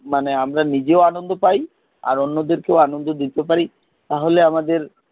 মানে আমরা নিজেও আনন্দ পাই, অন্যদের কেও আনন্দ দিতে পারি তাহলে আমাদের,